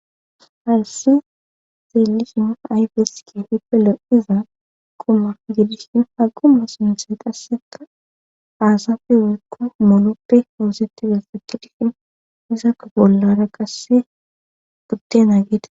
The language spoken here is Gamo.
Hayssi xeelisha ayfeske hipelo iza quma gidishin haguma sintse qasseka aasafe wulkko mooloppe hoosettida sakidihin izakko bollara qasse guttenaa geeda.